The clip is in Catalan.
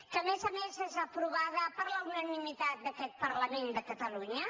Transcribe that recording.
que a més a més és aprovada per la unanimitat d’aquest parlament de catalunya